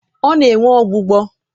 ọ na-enwe ọgbụgbọ.